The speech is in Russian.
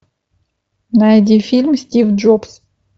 найди фильм стив джобс